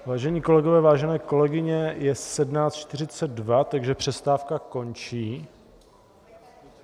Vážení kolegové, vážené kolegyně, je 17.42, takže přestávka končí.